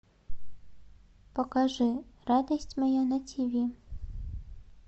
покажи радость моя на тиви